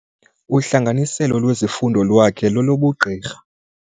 Uhlanganiselo lwezifundo lwakhe lolobugqirha.